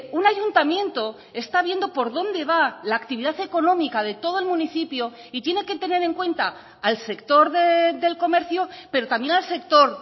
un ayuntamiento está viendo por donde va la actividad económica de todo el municipio y tiene que tener en cuenta al sector del comercio pero también al sector